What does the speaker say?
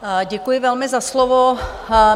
Děkuji velmi za slovo.